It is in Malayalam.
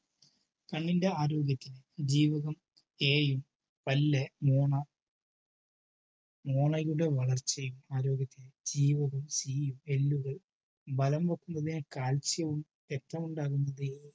കണ്ണിന്റെ ആരോഗ്യത്തിന് ജീവകം A യും പല്ല്, മോണ മോണയുടെ വളർച്ചയും ആരോഗ്യത്തിന് ജീവകം C യും എല്ലുകൾ ബലം വയ്ക്കുന്നതിന് calcium വും വേണ്ടതാണ്.